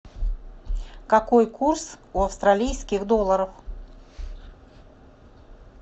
какой курс у австралийских долларов